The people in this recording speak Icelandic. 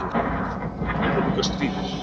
Þá byrjaði líka stríðið.